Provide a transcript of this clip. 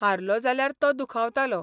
हारलो जाल्यार तो दुखावतालो.